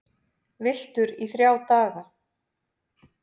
Villtur í þrjá daga